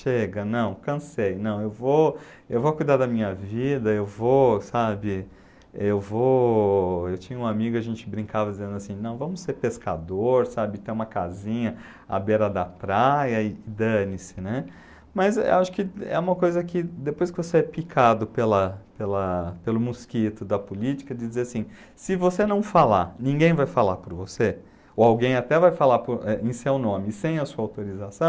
chega não cansei não eu vou eu vou cuidar da minha vida eu vou sabe eu vou eu tinha um amigo a gente brincava dizendo assim não vamos ser pescador sabe ter uma casinha a beira da praia e dane-se né mas acho que é uma coisa que depois que você é picado pela pela pelo mosquito da política de dizer assim se você não falar ninguém vai falar por você ou alguém até vai falar eh em seu nome sem a sua autorização